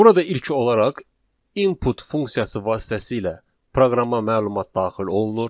Burada ilk olaraq input funksiyası vasitəsilə proqrama məlumat daxil olunur.